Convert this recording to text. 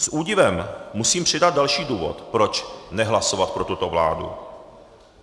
S údivem musím přidat další důvod, proč nehlasovat pro tuto vládu.